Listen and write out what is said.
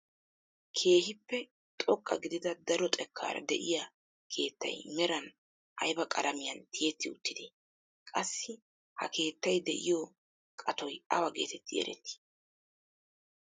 Keehippe xoqqa gidida daro xekkaara de'iyaa keettay meran ayba qalamiyaan tiyetti uttidee? qassi ha keettay de'iyoo qatoy awa getetti erettii?